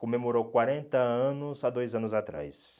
Comemorou quarenta anos há dois anos atrás.